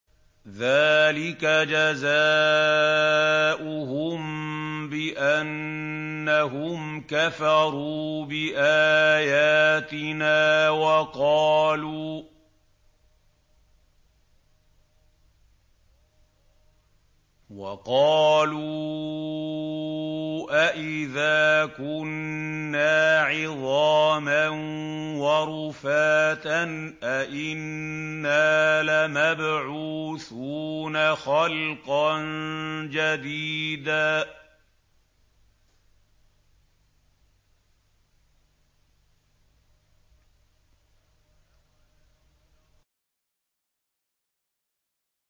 ذَٰلِكَ جَزَاؤُهُم بِأَنَّهُمْ كَفَرُوا بِآيَاتِنَا وَقَالُوا أَإِذَا كُنَّا عِظَامًا وَرُفَاتًا أَإِنَّا لَمَبْعُوثُونَ خَلْقًا جَدِيدًا